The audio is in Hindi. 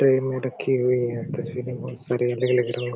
ट्रे में रखी हुई हैं तस्वीरें बहुत सारी अलग-अलग हो--